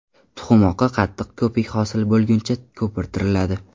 Tuxum oqi qattiq ko‘pik hosil bo‘lguncha ko‘pirtiriladi.